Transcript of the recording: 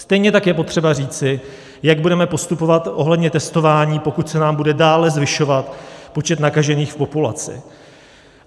Stejně tak je potřeba říci, jak budeme postupovat ohledně testování, pokud se nám bude dále zvyšovat počet nakažených v populaci.